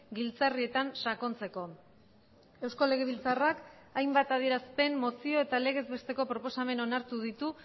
giltzarrietan sakontzeko eusko legebiltzarrak hainbat adierazpen mozio eta legezbesteko proposamen onartu ditu